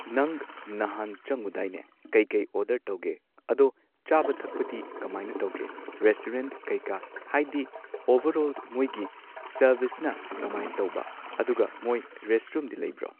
ꯅꯪ ꯅꯍꯥꯟ ꯆꯪꯉꯨꯗꯥꯏꯅꯦ ꯀꯩ ꯀꯩ ꯑꯣꯔꯗꯔ ꯇꯧꯒꯦ ꯑꯗꯣ ꯆꯥꯕ ꯊꯛꯄꯗꯤ ꯀꯃꯥꯏꯅ ꯇꯧꯒꯦ ꯔꯦꯁꯇꯨꯔꯦꯟꯠ ꯀꯩ ꯀꯥ ꯍꯥꯏꯗꯤ ꯑꯣꯚꯔꯑꯣꯜ ꯃꯣꯏꯒꯤ ꯁꯔꯚꯤꯁꯅ ꯀꯃꯥꯢꯟꯁꯔꯕꯤꯁꯅ ꯀꯃꯥꯏ ꯇꯧꯕ ꯑꯗꯨꯒ ꯃꯣꯏ ꯔꯦꯁꯔꯨꯝꯗꯤ ꯂꯩꯕ꯭ꯔꯣ